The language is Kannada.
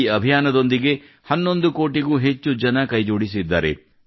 ಈ ಅಭಿಯಾನದೊಂದಿಗೆ 11 ಕೋಟಿಗೂ ಹೆಚ್ಚು ಜನ ಕೈಜೋಡಿಸಿದ್ದಾರೆ